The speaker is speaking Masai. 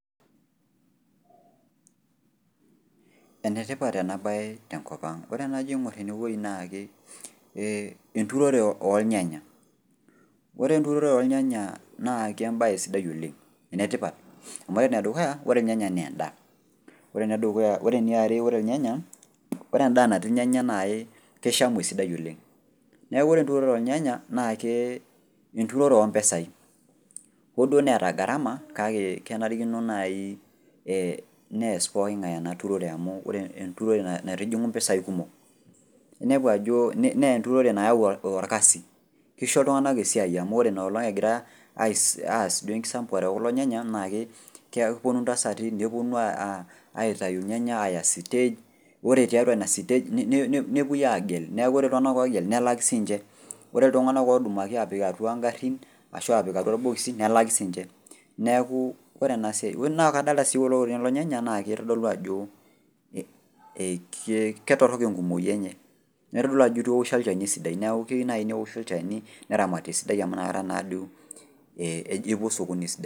Enetipat ena baye tenkopang' ore enajo aing'orr enewuei naake ee enturore oolnyanya. Ore enturore oolnyanya naa kembaye sidai oleng' enetipat, amu ore nedukuya ore ilnyanya neendaa. Ore nedukuya, ore eniare ore ilnyanya ore endaa natii ilnyanya nai keishami esidai oleng'. Neaku ore enturore oolnyanya naake enturore ompesai oduoo neeta garama kake kenarikino naii ee neas pooking'ai ena turore amu ore enturore naitijing'u mpesai kumok inepu ajoo neenturore naau olkasi, keisho iltung'ana esiai amu ore inaolong' egira aas duo enkisampuare e kulo nyanya naake kepuonu ntasati nepuonu aa aitayu ilnyanya aya stage ore tiatua ina  stage nepuoi aagel neaku ore iltung'ana ogel nelaki siinche. Ore iltung'ana odumaki apik atua ingarrin ashu apik atua ilbokisi nelaki siinche neakuu ore enasiai, na kadolta sii ore kulo kulie nyanya naakeitodolu ajoo ee ketorrok enkumoyi enye neitodolu ajo eitu eoshi olchani sidai neaku keyou nai neoshi olchani neramati esidai amu nakata naduo eji epuo sokoni esidai.